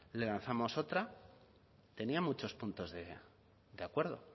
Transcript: le lanzamos otra tenía muchos puntos de acuerdo